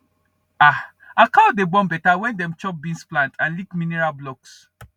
um our cow dey born better when dem chop beans plant and lick mineral blocks